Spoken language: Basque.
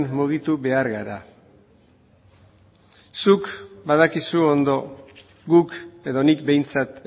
mugitu behar gara zuk badakizu ondo guk edo nik behintzat